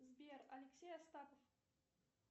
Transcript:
сбер алексей остапов